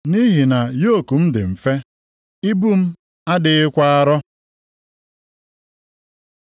Nʼihi na yoku m dị mfe, ibu m adịghịkwa arọ.”